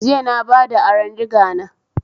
Jiya na bada aron digana